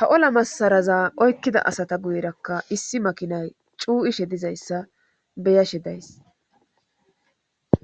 ha ola massaraza oykkida asata guyerakka issi makinay cuu'ishe dizayssa beyashe days.